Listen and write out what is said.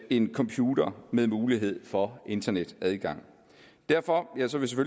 en computer med mulighed for internetadgang derfor